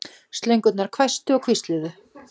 Slöngurnar hvæstu og hvísluðu.